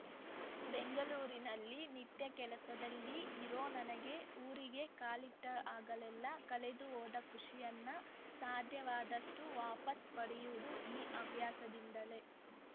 ಬೆಂಗಳೂರಿನಲ್ಲಿ ನಿತ್ಯ ಕೆಲ್ಸದಲ್ಲಿ ಇರೋ ನನಗೆ ಊರಿಗೆ ಕಾಲಿಟ್ಟಾಗಲೆಲ್ಲ ಕಳೆದು ಹೋದ ಖುಷಿಯನ್ನ ಸಾಧ್ಯವಾದಷ್ಟುವಾಪಸ್‌ ಪಡೆಯೋದು ಈ ಹವ್ಯಾಸದಿಂದಲೇ